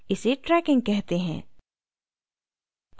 इसे tracking कहते हैं